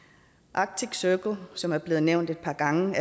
arctic circle som allerede er blevet nævnt et par gange